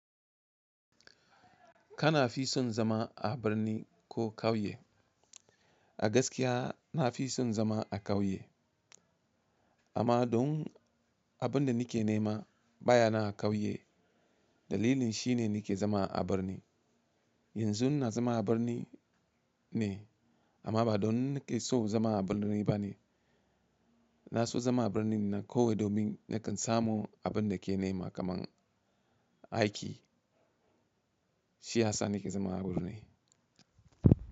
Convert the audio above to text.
Kana fi son zama a birni ko kauye? A gaskiya na fi son zama a kauye. Amma don abin da nike nema baya na a kauye, dalilin shine nike zama a birni. Yanzu na zama a birni ne amma ba don nike so zama a birni ba ne. Na so zama a birni nan kawai domin nakan samu abin da ke nema kaman aiki. Shi ya sa nike zama a birni.